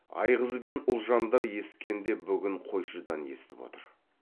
айғыз бен ұлжандар ескенде бүгін қойшыдан есітіп отыр